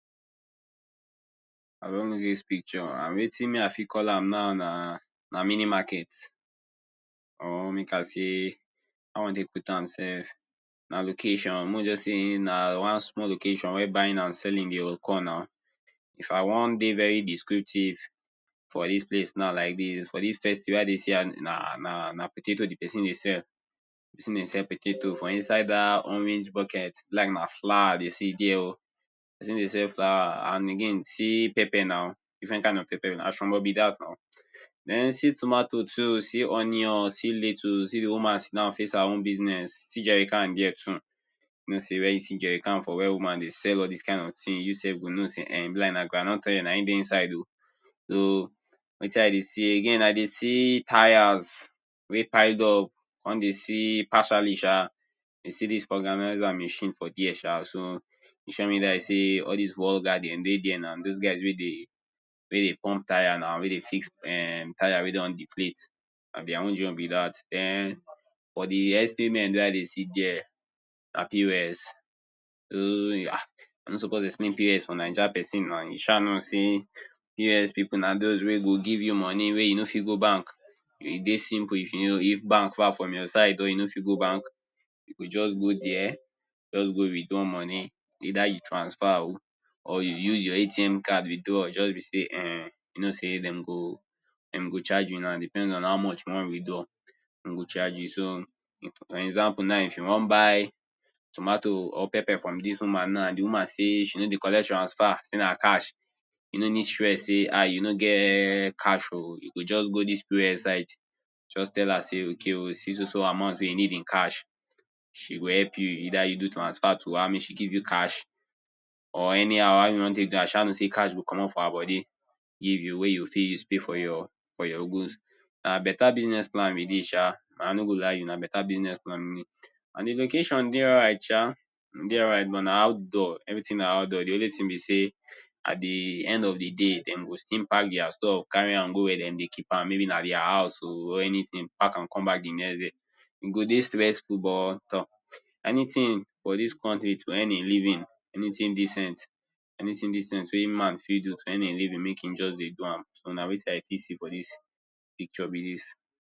I don look dis picture and wetin me i fit call am now na mini market or make i say how i wan take put am self, na location. Make we just say na one small location, where buying and selling dey occur na. If i wan dey very descriptive for dis place now like dis, for dis state wey i dey see her, na na potato the pesin dey sell. The pesin dey sell potato. For inside dat orange bucket, e be like na flower i dey see dere oh. The pesin dey sell flower and again see pepper na, different kind of pepper. Na shombo be dat na. Den see tomato too, see onion, see lettuce, see the woman sit down face her own business. See Jerican dere too. You know sey wen you see jerican for where woman dey sell all dis kind of things, you self go know sey um e be like na groundnut oil dey inside oh. So, wetin i dey see, again i dey see tyres wey piled up. Con dey see partially sha, I dey see dis vulcanizer machine for dere sha. So, e sure me die sey all des vulca dem dey dere na. Dos guys wey dey wey dey pump tyre now. Wey dey fix um tyre wey don deflate. Na their own joint be dat. Den, for the espayment wey i dey see dere, na POS. I no suppose dey explain POS for Naija pesin na. You sha know sey POS pipu na dos wey go give you money wey you no fit go bank. E dey simple if you know, if bank far from your side oh or you no fit go bank. You go just go dere, just go withdraw money. Either you transfer oh or you use your ATM card withdraw. Just be sey um, you know sey dem go, dem go charge you na. Depends on how much you wan withdraw. De go charge you. So, for example now, if you wan to buy tomato or pepper from dis woman now and the woman say, she no dey collect transfer, say na cash. You no need stress say, ah, you no get cash oh. You go just go dis POS side, just tell her sey, okay, see so so amount you need in cash. She go help you, either you do transfer to her, make she give you cash or anyhow. How you wan take do am, i sha know sey cash go comot for her body give you, wey you fit use pay for your for your goods. Na better business plan be dis sha. I no go lie you. Na better business plan. And the location dey alright sha. E dey alright but na outdoor, everything na outdoor. The only thing be sey, at the end of the day, dem go still pack their stuff, carry am go where de dey keep am. Maybe na their house oh or anything. Pack am come back the next day. E go dey stressful but tor! Anything for dis country to earn a living, anything decent, anything decent wey man fit do to earn a living, make e just dey dey do am. So, na wetin i fit see for dis be dis.